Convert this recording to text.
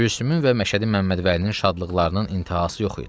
Gülsümün və Məşədi Məmmədvəlinin şadlıqlarının intihası yox idi.